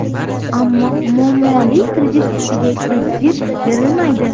Ammo muammoli kredit ustiga kredit berilmaydi.